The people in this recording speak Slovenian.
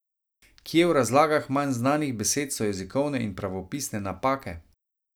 Kje v razlagah manj znanih besed so jezikovne in pravopisne napake?